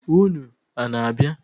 Ụnụ ana-abịa?